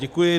Děkuji.